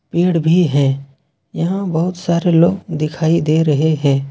पेड़ भी है यहा बहुत सारे लोग दिखाई दे रहे हैं।